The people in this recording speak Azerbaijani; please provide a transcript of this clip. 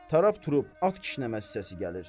Tarab trub, at kişnəməsi səsi gəlir.